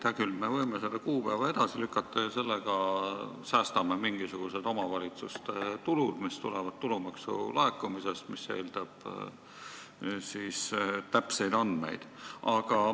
Hea küll, me võime selle kuupäeva edasi lükata ja säästa mingisuguseid omavalitsuste tulusid, mis tulevad tulumaksu laekumisest, mis omakorda eeldab täpseid andmeid.